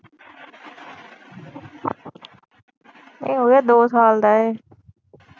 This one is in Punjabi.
ਇਹ ਹੋਗਿਆ ਦੋ ਸਾਲ ਦਾ ਏ।